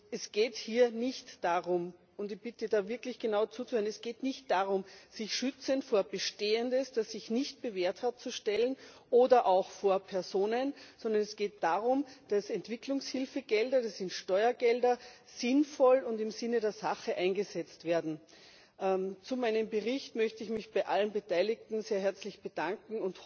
Es geht hier nicht darum und ich bitte, da wirklich genau zuzuhören sich schützend vor Bestehendes, das sich nicht bewährt hat, zu stellen oder auch vor Personen, sondern es geht darum, dass Entwicklungshilfegelder das sind Steuergelder sinnvoll und im Sinne der Sache eingesetzt werden. Zu meinem Bericht möchte ich mich bei allen Beteiligten sehr herzlich bedanken.